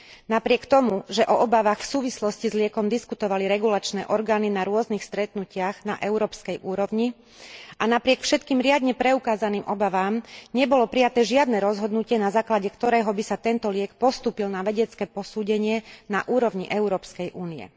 Napriek tomu, že o obavách v súvislosti s liekom diskutovali regulačné orgány na rôznych stretnutiach na európskej úrovni, a napriek všetkým riadne preukázaným obavám, nebolo prijaté žiadne rozhodnutie, na základe ktorého by sa tento liek postúpil na vedecké posúdenie na úrovni Európskej únie.